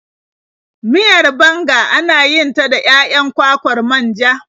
Miyar banga ana yin ta da 'ya'yan kwakwar manja.